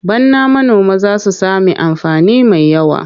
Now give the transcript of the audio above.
Bana manoma za su sami amfani mai yawa.